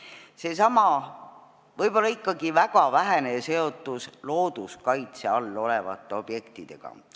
Esiteks, seesama võib-olla ikkagi väga vähene seotus looduskaitse all olevate objektidega.